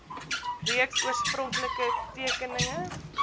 reeks oorspronklike tekeninge